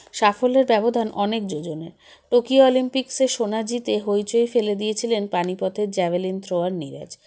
সাফল্যের ব্যবধান অনেক জোযনের টোকিও অলিম্পিক্সে সোনা জিতে হইচই ফেলে দিয়েছিলেন পানিপতের জ্যাভেলিন thrower নিরজ